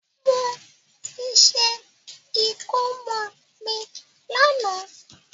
Mo ti ṣe ìkómọ mi lànà